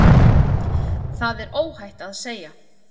Það er óhætt að segja.